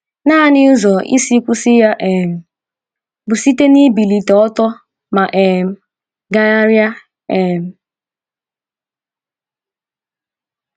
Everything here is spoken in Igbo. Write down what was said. Nanị ụzọ isi kwụsị ya um bụ site n’ibilite ọtọ ma um gagharịa. um